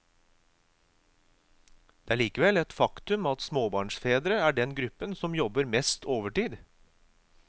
Det er likevel et faktum at småbarnsfedre er den gruppen som jobber mest overtid.